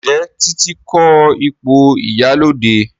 Njé Titi ko ipo ìyálóde?